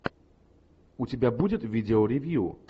у тебя будет видео ревью